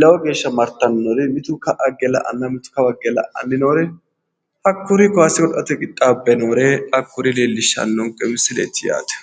lowo geeshsha martannori mitu ka'a higge la'anna mitu kawa higge la'ann noore hakkuri kaase godo'late qixxaabbe noore hakuri leellishshannonke misileeti yaate